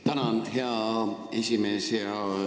Tänan, hea esimees!